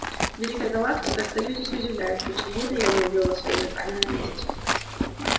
великая галактика стою здесь и удивляюсь почему это я не убил вас своими руками на месте